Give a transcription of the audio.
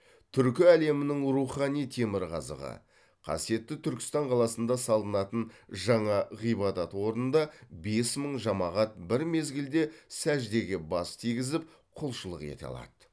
түркі әлемінің рухани темірқазығы қасиетті түркістан қаласында салынатын жаңа ғибадат орнында бес мың жамағат бір мезгілде сәждеге бас тигізіп құлшылық ете алады